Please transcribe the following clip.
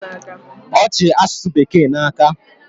Ọ chi asụsụ bekee n'aka